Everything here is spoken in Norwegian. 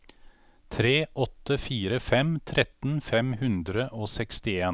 tre åtte fire fem tretten fem hundre og sekstien